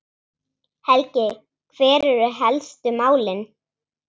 Helgi, hver eru helstu málin?